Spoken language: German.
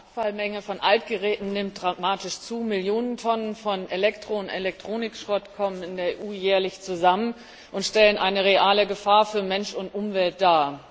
Die Abfallmenge von Altgeräten nimmt dramatisch zu. Millionen Tonnen von Elektro und Elektronikschrott kommen in der EU jährlich zusammen und stellen eine reale Gefahr für Mensch und Umwelt dar.